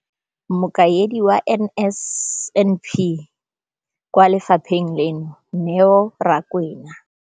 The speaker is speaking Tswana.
Mokaedi wa NSNP kwa lefapheng leno, Neo Rakwena.